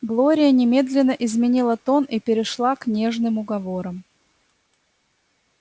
глория немедленно изменила тон и перешла к нежным уговорам